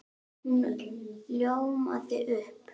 Hún ljómaði upp!